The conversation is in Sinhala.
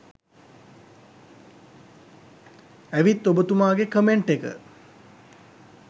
ඇවිත් ඔබතුමාගේ කමෙන්ට් එක